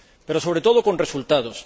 Pero, sobre todo, con resultados.